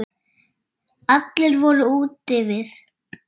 Allir voru úti við.